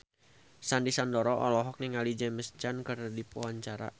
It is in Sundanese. Sandy Sandoro olohok ningali James Caan keur diwawancara